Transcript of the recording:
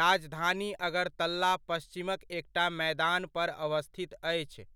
राजधानी अगरतला पच्छिमक एकटा मैदान पर अवस्थित अछि।